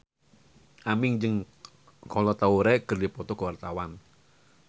Aming jeung Kolo Taure keur dipoto ku wartawan